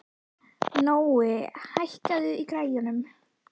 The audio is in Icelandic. Nói, hækkaðu í græjunum.